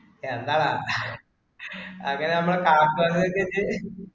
എന്താടാ? അത് നമ്മടെ